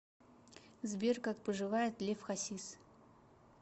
сбер как поживает лев хасис